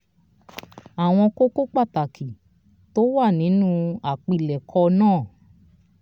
"àwọn kókó pàtàkì tó wà nínú àpilẹ̀kọ náà